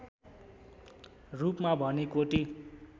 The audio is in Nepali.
रूपमा भने कोटी